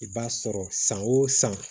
I b'a sɔrɔ san o san